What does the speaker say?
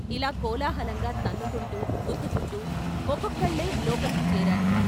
" ఇలా కోలాహలంగా తన్నుకుంటూ, గుద్దుకుంటూ ఒక్కొక్కళ్ళే లోపలికి చేరారు.